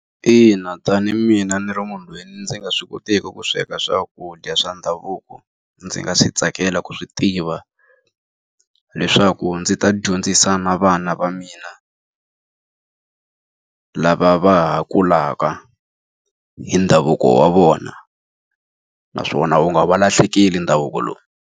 Ina tanihi mina ndzi ri munhu loyi ndzi nga swi kotiki ku sweka swakudya swa ndhavuko, ndzi nga swi tsakela ku swi tiva. Leswaku ndzi ta dyondzisa na vana va mina lava va ha kulaka hi ndhavuko wa vona. Naswona wu nga va lahlekeli ndhavuko lowu.